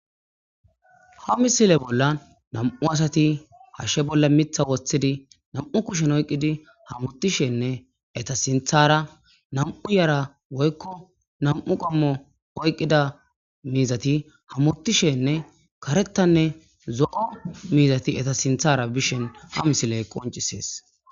Haa missile bollann nam''u asati hashshe bolla miththa woththidi nam''u kushshen oyikiddi hamutishenne eta sinththara nam''u Yara woyikko nam''u qommo oyikidda mizati hamutishenne karetane zo'o mizatti eta sinththara bishshin haa missileyi qonccisess .